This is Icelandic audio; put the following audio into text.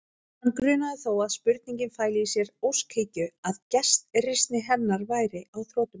Hann grunaði þó að spurningin fæli í sér óskhyggju, að gestrisni hennar væri á þrotum.